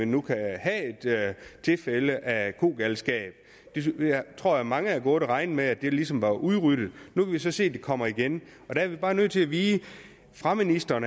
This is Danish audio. nu kan have et tilfælde af kogalskab jeg tror at mange havde gået og regnet med at det ligesom var udryddet nu kan vi så se at det kommer igen der er vi bare nødt til at vide fra ministeren